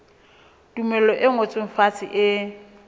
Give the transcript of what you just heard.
tumello e ngotsweng fatshe e